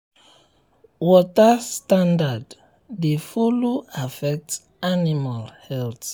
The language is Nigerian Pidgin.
water standard dey follow affect animal health.